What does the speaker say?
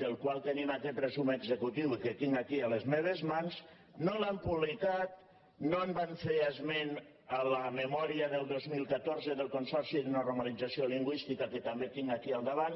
del qual tenim aquest resum executiu i que tinc aquí a les meves mans no l’han publicat no en van fer esment a la memòria del dos mil catorze del consorci de normalització lingüística que també tinc aquí al davant